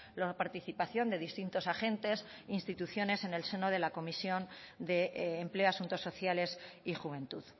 la participación de distintos agentes instituciones en el seno de la comisión de empleo asuntos sociales y juventud